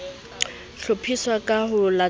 ho hlophiswa ka ho latela